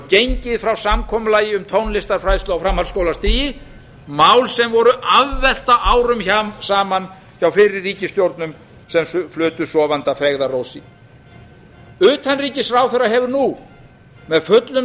gengið frá samkomulagi um tónlistarfræðslu á framhaldsskólastigi mál sem voru afvelta árum saman hjá fyrri ríkisstjórnum sem flutu sofandi að feigðarósi utanríkisráðherra hefur nú með fullum